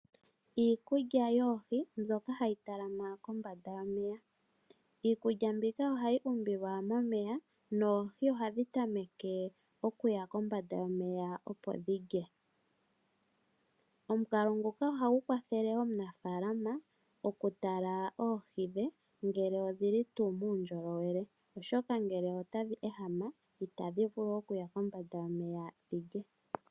Iikulya yoohi mbyoka hayi talama kombanda yomeya, iikulya mbika ohayi umbilwa momeya noohi ohadhi tameke okuya kombanda yomeya opo dhi lye, omukalo nguka ohagu kwathele aanafaalama okutala oohi dhe ngele odhi li tu mundjolowele, oshoka ngele otadhi ehama itadhi vulu okuya kombanda yomeya dhi lye.